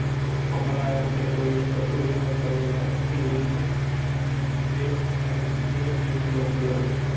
ஒன்பதாயிரம் பேர் உயிர்ழந்து~ உயிரிழந்துள்ளனர் இதில் பே~